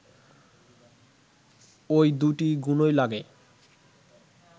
ওই দুটি গুণই লাগে